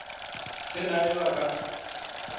se na yo a ka